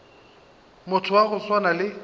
motho wa go swana le